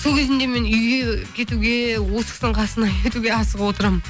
сол кезінде мен үйге кетуге осы кісінің қасына кетуге асығып отырамын